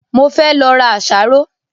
Mo fẹ́ lọ ra àsáró